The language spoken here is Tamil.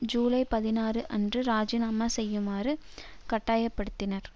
ஜுலை பதினாறு அன்று ராஜினாமா செய்யுமாறு கட்டாய படுத்த பட்டனர்